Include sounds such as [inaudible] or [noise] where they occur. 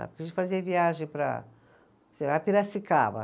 A gente fazia viagem para [unintelligible] Piracicaba.